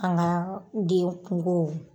An ka den kungow